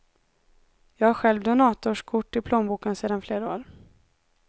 Jag har själv donatorskort i plånboken sedan flera år.